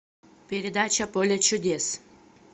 передача поле чудес